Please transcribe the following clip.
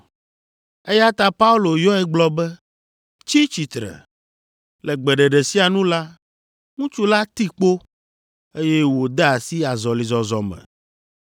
eya ta Paulo yɔe gblɔ be, “Tsi tsitre!” Le gbeɖeɖe sia nu la, ŋutsu la ti kpo, eye wòde asi azɔlizɔzɔ me.